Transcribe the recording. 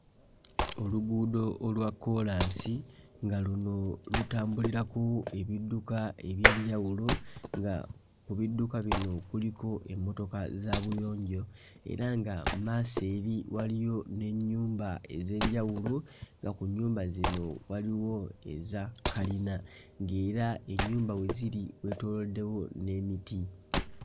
Oluguudo olwa kkoolansi nga luno lutambulirako ebidduka eby'enjawulo, nga ku bidduka bino kuliko emmotoka za buyonjo era nga mmaaso eri waliyo n'ennyumba ez'enjawulo nga ku nnyumba zino waliwo eza kalina ng'era ennyumba we ziri weetooloddewo n'emiti.